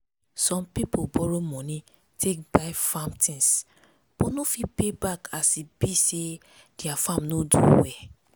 some people borrow money take buy farm tins but no fit pay back as e be say their farm no do well.